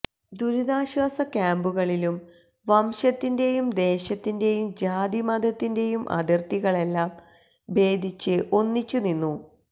ദുരിതാശ്വാസ ക്യാമ്പുകളിലും വംശത്തിന്റെയും ദേശത്തിന്റെയും ജാതിമതത്തിന്റെയും അതിര്ത്തികളെല്ലാം ഭേതിച്ച് ഒന്നിച്ചു നിന്നു